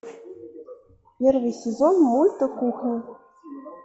первый сезон мульта кухня